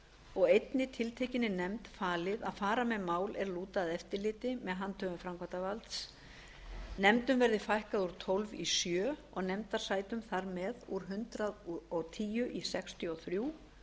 og einni tiltekinni nefnd falið að fara með mál er lúta að eftirliti með handhöfum framkvæmdarvalds nefndum verði fækkað úr tólf í sjö og nefndasætum þar með úr hundrað og tíu í sextíu og þrjú